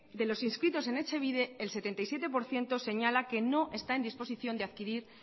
los inscritos en etxebide el setenta y siete por ciento señala que no está en disposición de adquirir